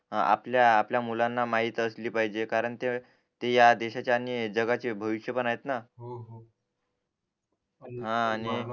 आपल्या आपल्या मुलांना माहीत असली पाहिजे कारण ते या देशाचे आणि जगाचे भविष्य पण आहेत ना हा आणि